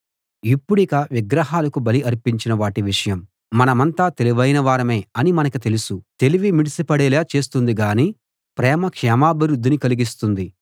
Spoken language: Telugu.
ఇప్పుడిక గ్రహాలకు బలి అర్పించిన వాటి విషయం మనమంతా తెలివైన వారమే అని మనకి తెలుసు తెలివి మిడిసిపడేలా చేస్తుంది గాని ప్రేమ క్షేమాభివృద్ధిని కలిగిస్తుంది